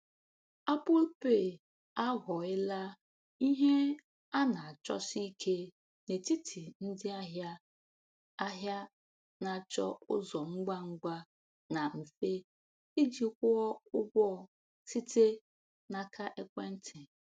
Apple Pay aghọela ihe a na-achọsi ike n’etiti ndị ahịa ahịa na-achọ ụzọ ngwa ngwa na mfe iji kwụọ ụgwọ site n’aka ekwentị.